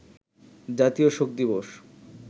জাতীয় শোক দিবস